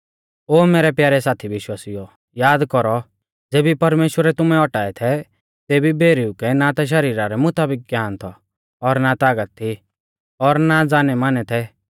ओ मैरै प्यारै साथी विश्वासिउओ याद कौरौ ज़ेबी परमेश्‍वरै तुमै औटाऐ थै तेबी भौरिऊ कै ना ता शरीरा रै मुताबिक ज्ञान थौ और ना तागत थी और ना जानैमानै थै